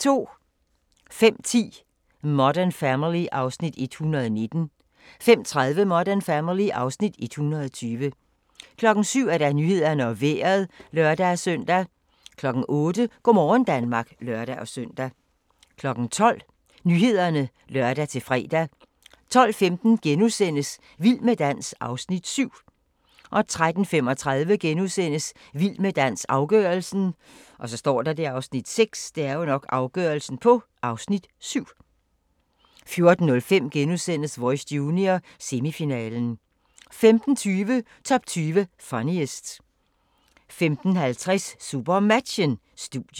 05:10: Modern Family (Afs. 119) 05:30: Modern Family (Afs. 120) 07:00: Nyhederne og Vejret (lør-søn) 08:00: Go' morgen Danmark (lør-søn) 12:00: Nyhederne (lør-fre) 12:15: Vild med dans (Afs. 7)* 13:35: Vild med dans – afgørelsen (Afs. 6)* 14:05: Voice Junior - semifinalen * 15:20: Top 20 Funniest 15:50: SuperMatchen: Studiet